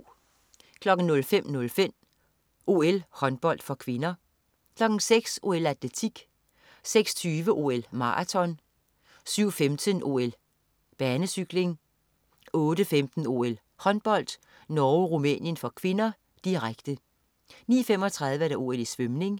05.05 OL: Håndbold (k) 06.00 OL: Atletik 06.20 OL: Maraton 07.15 OL: Banecykling 08.15 OL: Håndbold. Norge-Rumænien (k), direkte 09.35 OL: Svømning